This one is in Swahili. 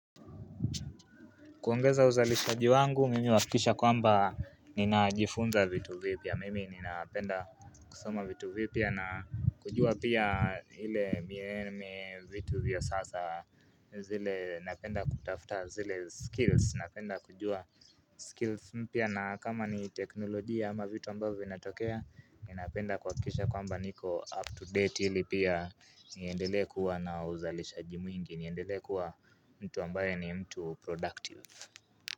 Kuongeza uzalishaji wangu, mimi uhakikisha kwamba ninajifunza vitu vipya. Mimi ninapenda kusoma vitu vipya na kujua pia ile miee vitu vya sasa. Zile napenda kutafuta zile skills. Napenda kujua skills mpya na kama ni teknolojia ama vitu ambavyo vinatokea, ninapenda kuhakikisha kwamba niko up to date ili pia niendelee kuwa na uzalishaji mwingi. Niendelee kuwa mtu ambaye ni mtu productive.